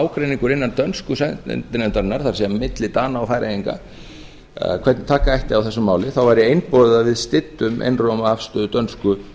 ágreiningur innan dönsku sendinefndarinnar það er milli dana og færeyinga hvernig ætti að taka á þessu máli þá væri einboðið að við styddum einróma afstöðu dönsku